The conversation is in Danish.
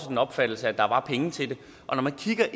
den opfattelse at der var penge til det og når man kigger